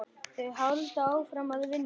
Þau halda áfram að vinna.